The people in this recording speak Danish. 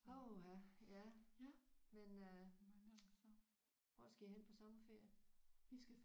Åh ha ja men øh hvor skal I hen på sommerferie?